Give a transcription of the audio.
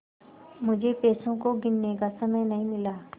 मुझे पैसों को गिनने का समय नहीं मिला